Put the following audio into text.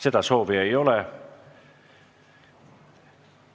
Seda soovi ei ole.